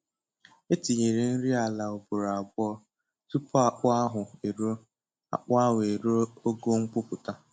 E tinyere nri ala ugboro abụọ tupu akpụ ahụ eruo akpụ ahụ eruo ogo ngwupụta